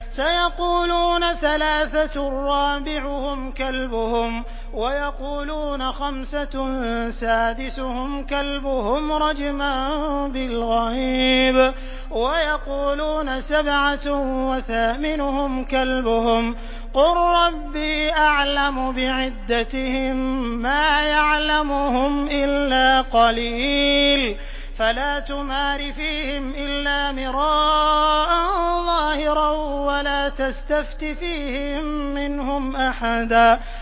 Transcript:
سَيَقُولُونَ ثَلَاثَةٌ رَّابِعُهُمْ كَلْبُهُمْ وَيَقُولُونَ خَمْسَةٌ سَادِسُهُمْ كَلْبُهُمْ رَجْمًا بِالْغَيْبِ ۖ وَيَقُولُونَ سَبْعَةٌ وَثَامِنُهُمْ كَلْبُهُمْ ۚ قُل رَّبِّي أَعْلَمُ بِعِدَّتِهِم مَّا يَعْلَمُهُمْ إِلَّا قَلِيلٌ ۗ فَلَا تُمَارِ فِيهِمْ إِلَّا مِرَاءً ظَاهِرًا وَلَا تَسْتَفْتِ فِيهِم مِّنْهُمْ أَحَدًا